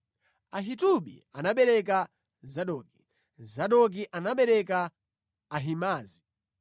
Ahitubi anabereka Zadoki, Zadoki anabereka Ahimaazi.